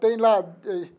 Tem lá.